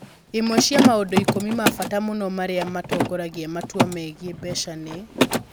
Imwe cia maũndũ ikũmi ma bata mũno marĩa matongoragia matua megiĩ mbeca nĩ: